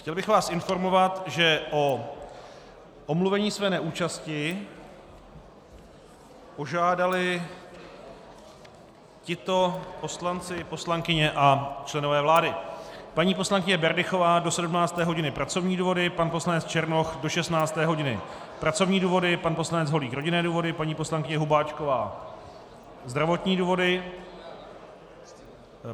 Chtěl bych vás informovat, že o omluvení své neúčasti požádali tito poslanci, poslankyně a členové vlády: paní poslankyně Berdychová do 17. hodiny pracovní důvody, pan poslanec Černoch do 16. hodiny pracovní důvody, pan poslanec Holík rodinné důvody, paní poslankyně Hubáčková zdravotní důvody.